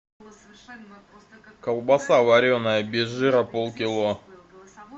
колбаса вареная без жира полкило